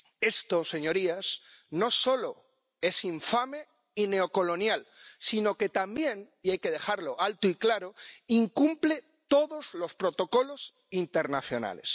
Esto, señorías, no solo es infame y neocolonial sino que también —y hay que decirlo alto y claro— incumple todos los protocolos internacionales.